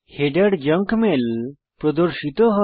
header junk mail প্রদর্শিত হয়